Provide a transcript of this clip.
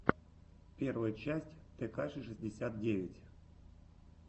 первая часть текаши шестьдесят девять